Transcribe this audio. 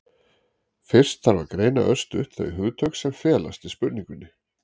fyrst þarf að greina örstutt þau hugtök sem felast í spurningunni